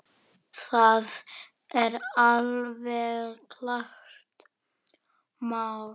Það er alveg klárt mál.